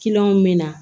me na